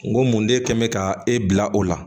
N ko mun de kɛ n bɛ ka e bila o la